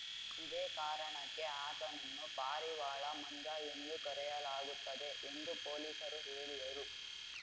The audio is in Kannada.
ಇದೇ ಕಾರಣಕ್ಕೆ ಆತನನ್ನು ಪಾರಿವಾಳ ಮಂಜ ಎಂದು ಕರೆಯಲಾಗುತ್ತದೆ ಎಂದು ಪೊಲೀಸರು ಹೇಳಿದರು